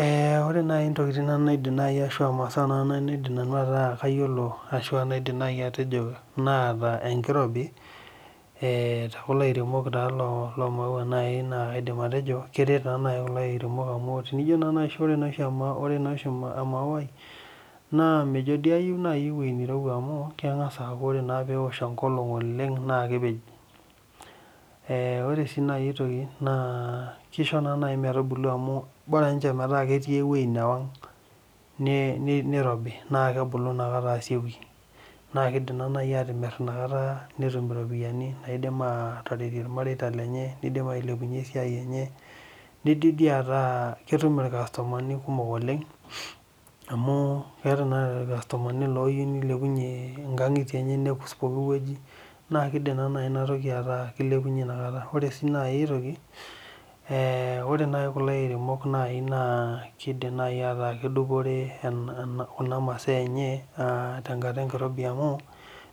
Eeh ore nai ntokiting naidim nai ashu aa masaa nai naa kaidim nai metaa kayiolo ashu aa kaidim nai atejo naata enkirobi eeh te kulo airemok loomaua naai kaidim nai atejo keret taa naji kulo airemok amu tinijo naai orenaa oshi ore naa oshi amauai naa mejo dii ayieu naai ewuei nirowua amu keng'as aaku ore naa peewosh engolong oleng naa kepej Eeh ore sii nai aitoki naa kisho naa nai mebubulu amu bora akeninje metaa ketii atua ewuei newang nirobi naa kebulu nakata aasioki naa kiidim naa nai atimir inakata netum iropiani naidim aataretie ilmareita lenye nidim ailepunye esiai enye nidim dii ataa ketum ilkasumani kumok oleng' amu keeta naa ilkasumani ooyieu nilepunye inkang'itie enye nekus pooki wuei naa kiidim naa nai enatoki ataa kilepunye naa taata Ore sii nai aitoki eeh ore nai kulo airemok nai naa kidim nai ataa kedupore kuna masaa enye aa tengata enkirobi amu